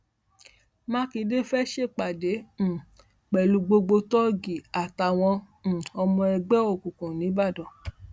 mákindé fẹẹ ṣèpàdé um pẹlú gbogbo tóògì àtàwọn um ọmọ ẹgbẹ òkùnkùn nìbàdàn